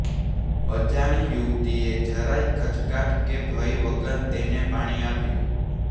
અજાણી યુવતીએ જરાય ખચકાટ કે ભય વગર તેને પાણી આપ્યું